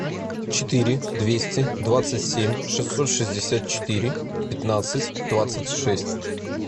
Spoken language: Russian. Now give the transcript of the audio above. четыре двести двадцать семь шестьсот шестьдесят четыре пятнадцать двадцать шесть